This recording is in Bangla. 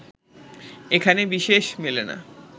এখানে বিশেষ মেলে না